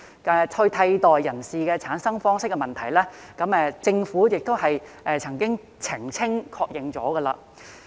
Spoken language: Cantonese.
至於替代人士的產生方式問題，政府亦曾就此澄清和確認。